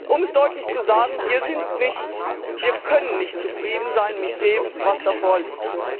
Um es deutlich zu sagen Wir sind nicht zufrieden, wir können nicht zufrieden sein mit dem, was da vorliegt.